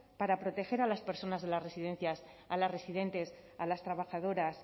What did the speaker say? para proteger a las personas de las residencias a las residentes a las trabajadoras